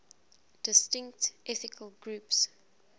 distinct ethnic groups